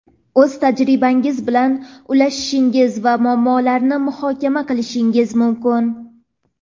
o‘z tajribangiz bilan ulashishingiz va muammolarni muhokama qilishingiz mumkin.